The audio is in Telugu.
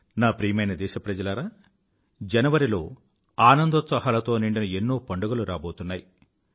నా ప్రియమైన దేశప్రజలారా జనవరిలో ఆనందోత్సాహాలతో నిండిన ఎన్నో పండుగలు రాబోతున్నాయి